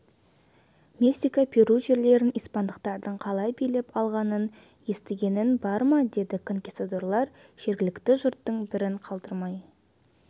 мексика перу жерлерін испандықтардың қалай билеп алғанын естігенің бар ма деді конкистадорлар жергілікті жұрттың бірін қалдырмай